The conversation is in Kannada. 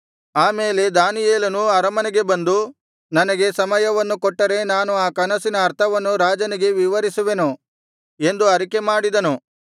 ಆ ಮೇಲೆ ದಾನಿಯೇಲನು ಅರಮನೆಗೆ ಬಂದು ನನಗೆ ಸಮಯವನ್ನು ಕೊಟ್ಟರೆ ನಾನು ಆ ಕನಸಿನ ಅರ್ಥವನ್ನು ರಾಜನಿಗೆ ವಿವರಿಸುವೆನು ಎಂದು ಅರಿಕೆ ಮಾಡಿದನು